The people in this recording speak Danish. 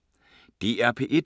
DR P1